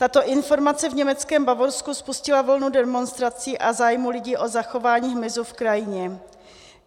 Tato informace v německém Bavorsku spustila vlnu demonstrací a zájmu lidí o zachování hmyzu v krajině.